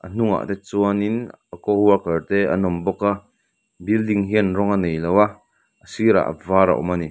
a hnungah te chuanin a coworker te an awm bawk a building hian rawng a nei lova a sirah var a awm a ni.